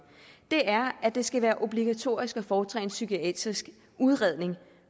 er at det skal være obligatorisk at foretage en psykiatrisk udredning